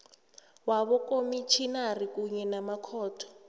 wabokomitjhinari kunye namakhotho